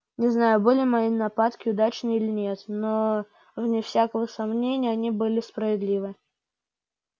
не знаю были мои нападки удачны или нет но вне всякого сомнения они были справедливы